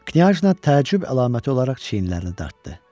Knyajna təəccüb əlaməti olaraq çiynlərini dartdı.